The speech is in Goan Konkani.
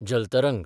जल तरंग